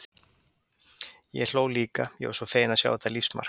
Ég hló líka, ég var svo fegin að sjá þetta lífsmark.